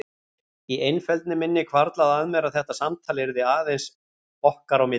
Í einfeldni minni hvarflaði að mér að þetta samtal yrði aðeins okkar á milli.